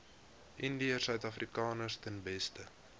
indiërsuidafrikaners ten beste